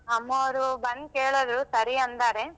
ಅಮ್ಮವ್ರು ಬಂದ್ ಕೆಳದ್ರು ಸರಿ ಅಂದಾರೆ.